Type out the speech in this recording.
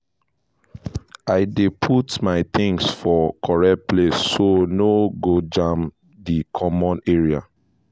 i dey put my things for correct place so no go jam di common area